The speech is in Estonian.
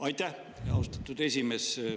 Aitäh, austatud esimees!